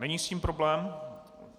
Není s tím problém?